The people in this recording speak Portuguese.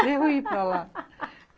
Para eu ir para lá.